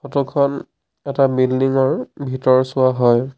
Photo খন এটা building ৰ ভিতৰচোৱা হয়।